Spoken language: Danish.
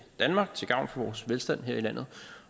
danmark til gavn for vores velstand her i landet